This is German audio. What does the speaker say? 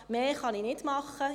Mehr kann ich nicht tun.